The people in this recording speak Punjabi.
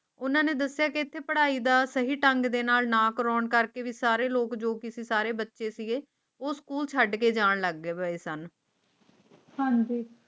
ਉਨ੍ਹਾਂ ਨੇ ਦੱਸਿਆ ਕਿ ਇਥੇ ਪੜ੍ਹਾਈ ਦਾ ਸਹੀ ਢੰਗ ਦੇ ਨਾਲ ਨਾ ਕਰਨ ਕਰਕੇ ਵੀ ਸਾਰੇ ਲੋਕ ਜੋ ਕਿ ਸਾਰੇ ਬੱਚੇ ਸੀ ਉਹ ਸਕੂਲ ਛੱਡ ਕੇ ਜਾਣ ਲੱਗੇ ਹੋਏ ਸਨ ਹਨ ਜੀ